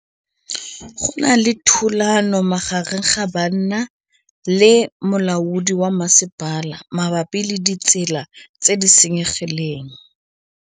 Go na le thulanô magareng ga banna le molaodi wa masepala mabapi le ditsela tse di senyegileng.